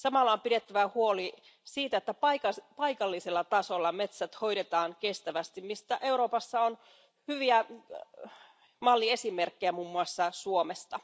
Samalla on pidettävä huoli siitä, että paikallisella tasolla metsät hoidetaan kestävästi, mistä Euroopassa on hyviä malliesimerkkejä muun muassa Suomesta.